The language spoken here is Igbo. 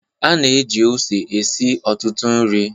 A na-eji ose esi ọtụtụ nri.